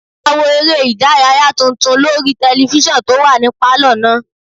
A wo eré ìdárayá tuntun lórí tẹlifísàn tó wà ní pálọ̀ náà